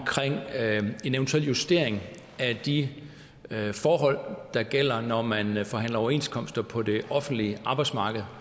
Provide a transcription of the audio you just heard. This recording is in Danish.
en eventuel justering af de forhold der gælder når man man forhandler overenskomster på det offentlige arbejdsmarked